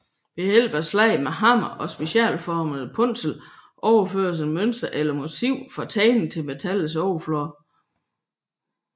Ved hjælp af slag med hammer og specialformede punsler overføres et mønster eller motiv fra tegning til metallets overflade